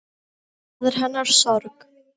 Það er hennar sorg.